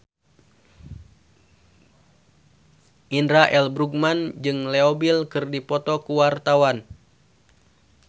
Indra L. Bruggman jeung Leo Bill keur dipoto ku wartawan